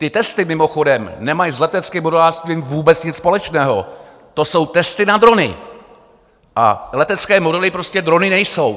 Ty testy, mimochodem, nemají s leteckým modelářstvím vůbec nic společného, to jsou testy na drony a letecké modely prostě drony nejsou.